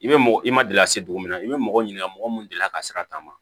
I bɛ mɔgɔ i ma deli ka se dugu min na i bɛ mɔgɔ ɲininka mɔgɔ mun delila ka sira ta ma